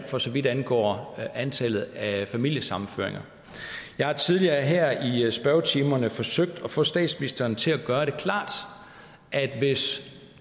for så vidt angår antallet af familiesammenføringer jeg har tidligere her i spørgetimerne forsøgt at få statsministeren til at gøre det klart at hvis